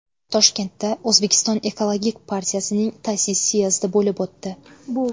Toshkentda O‘zbekiston ekologik partiyasining ta’sis syezdi bo‘lib o‘tdi.